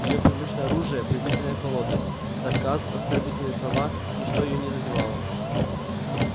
её привычное оружие презрительная холодность сарказм оскорбительные слова ничто её не задевало